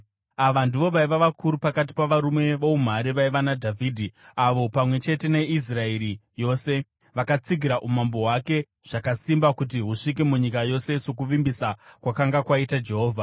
Ava ndivo vaiva vakuru pakati pavarume voumhare vaiva naDhavhidhi, avo pamwe chete neIsraeri yose, vakatsigira umambo hwake zvakasimba kuti husvike munyika yose sokuvimbisa kwakanga kwaita Jehovha.